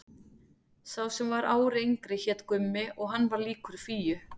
Sá sem var ári yngri hét Gummi og hann var líkur Fíu.